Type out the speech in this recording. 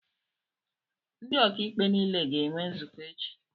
Ndị ọkàikpe nile ga-enwe nzukọ echi